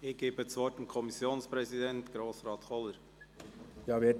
Ich gebe das Wort dem Kommissionspräsidenten, Grossrat Kohler.